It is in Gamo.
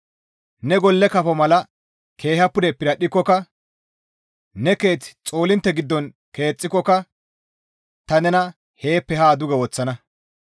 Ne golle kafo mala keeha pude piradhdhikokka, ne keeth xoolintte giddon keexxikokka ta nena heeppe haa duge woththana.